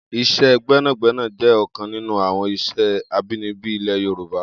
Is̩é̩ gbé̩nàgbé̩nà jé̩ ò̩kan nínú àwo̩n ìs̩é̩ abínibí ilè̩ Yorùbá